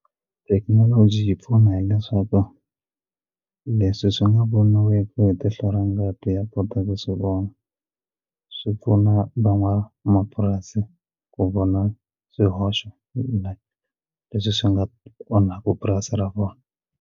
Thekinoloji yi pfuna hileswaku leswi swi nga voniweki hi tihlo ra ngati ya kota ku swi vona swi pfuna van'wamapurasi ku vona swihoxo leswi swi nga onhaka purasi ra vona.